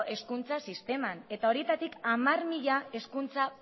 sisteman eta horietatik hamar mila hezkuntza